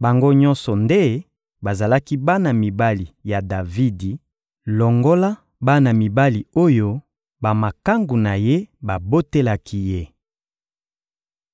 Bango nyonso nde bazalaki bana mibali ya Davidi, longola bana mibali oyo bamakangu na ye babotelaki ye.